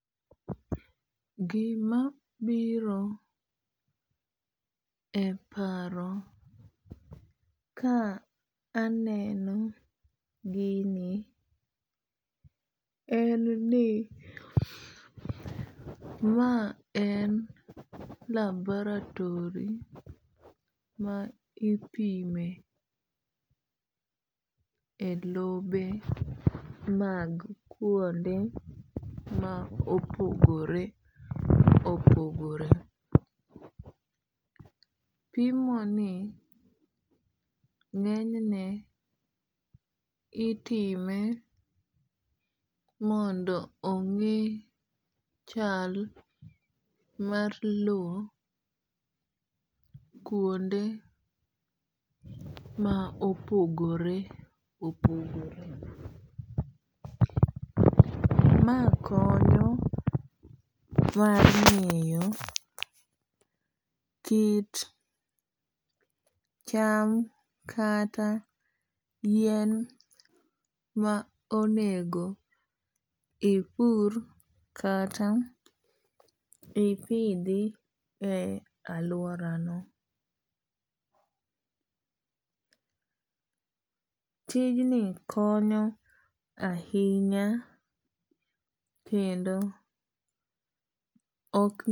Gima biro e paro ka aneno gini en ni ma en laboratory ma ipime e lobe mag kuonde ma opogore opogore. Pimo ni ng'enyne itime mondo ong'e chal mar low kuonde ma opogore opogore. Ma konyo mar ng'eyo kit cham kata yiem ma onego ipur kata ipidhi e aluora no. Tijni konyo ahinya kendo ok.